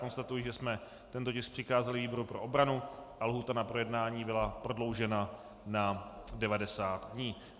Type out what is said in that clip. Konstatuji, že jsme tento tisk přikázali výboru pro obranu a lhůta na projednání byla prodloužena na 90 dní.